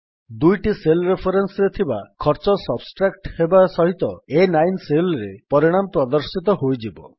ଦୁଇଟି ସେଲ୍ ରେଫରେନ୍ସରେ ଥିବା ଖର୍ଚ୍ଚ ସବଷ୍ଟ୍ରାକ୍ଟ ହେବା ସହିତ A9Cellରେ ପରିଣାମ ପ୍ରଦର୍ଶିତ ହୋଇଯିବ